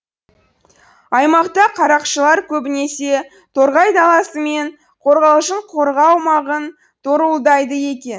аймақта қарақшылар көбінесе торғай даласы мен қорғалжын қорығы аумағын торуылдайды екен